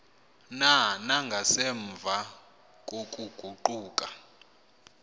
na nangasemva kokuguquka